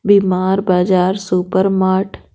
बीमार बाजार super mart .